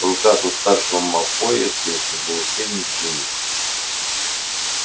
в руках у старшего малфоя все ещё был учебник джинни